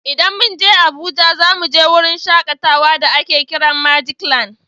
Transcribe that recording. In mun je Abuja za mu je wurin shakatawa da a ke kiran magic land